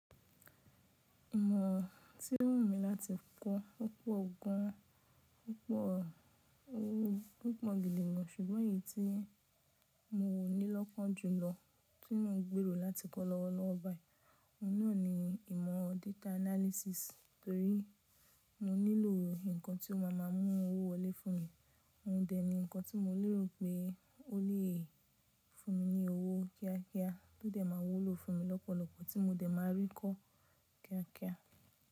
Ìmọ̀ tí ó wù mí láti kọ́ opọ̀r gan, púpọ̀, ó pọ̀n gidi gan, ṣùgbọ́n èyí tí mo nílọ́kan jù lọ, tí mo ń gbèrò láti kọ́ lọ́wọ́lowo bayi, ọ̀hunà ni ìmọ̀ data analysis, torí mo nílò nǹkan tí ó máa ma mú owó wọlé fún mi. Òun dẹ̀ ni nǹkan tí mo lè rò pé ó lè fún mi ní owó kíákíá, tó dẹ̀ ma wúlò fún mi lọ́pọ̀lọpọ̀, tí mo dẹ̀ máa rí kó kíákíá.